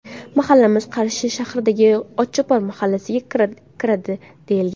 Mahallamiz Qarshi shahridagi ‘Otchopar’ mahallasiga kiradi deyilgan.